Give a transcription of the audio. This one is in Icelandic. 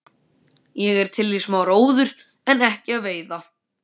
Ég er til í smá róður en ekki að veiða.